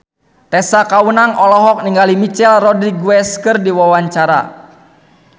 Tessa Kaunang olohok ningali Michelle Rodriguez keur diwawancara